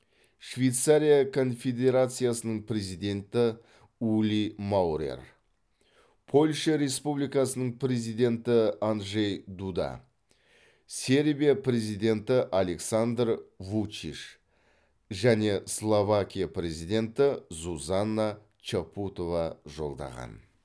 швейцария конфедерациясының президенті ули маурер польша республикасының президенті анджей дуда сербия президенті александр вучич және словакия президенті зузана чапутова жолдаған